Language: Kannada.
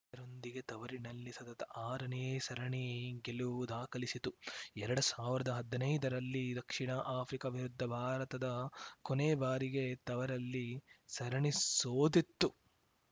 ಇದರೊಂದಿಗೆ ತವರಿನಲ್ಲಿ ಸತತ ಆರನೇ ಸರಣಿ ಗೆಲುವು ದಾಖಲಿಸಿತು ಎರಡ್ ಸಾವಿರ್ದ ಹದ್ನೈದರಲ್ಲಿ ದಕ್ಷಿಣ ಆಫ್ರಿಕಾ ವಿರುದ್ಧ ಭಾರತದ ಕೊನೆ ಬಾರಿಗೆ ತವರಲ್ಲಿ ಸರಣಿ ಸೋತಿತ್ತು